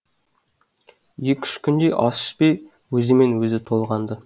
екі үш күндей ас ішпей өзімен өзі толғанды